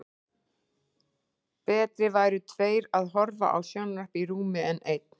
Betri væru tveir að horfa á sjónvarp í rúmi en einn.